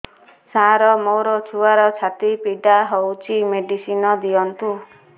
ସାର ମୋର ଛୁଆର ଛାତି ପୀଡା ହଉଚି ମେଡିସିନ ଦିଅନ୍ତୁ